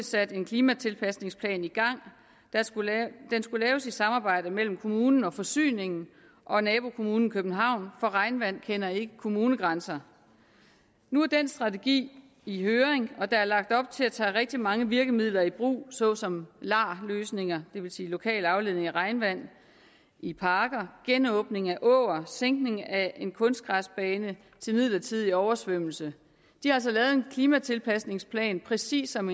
sat en klimatilpasningsplan i gang den skulle laves i samarbejde mellem kommunen og forsyningen og nabokommunen københavn for regnvand kender ikke kommunegrænser nu er den strategi i høring og der er lagt op til at tage rigtig mange virkemidler i brug såsom lar løsninger det vil sige lokal afledning af regnvand i parker genåbning af åer og sænkning af en kunstgræsbane til midlertidig oversvømmelse de har altså lavet en klimatilpasningsplan præcis som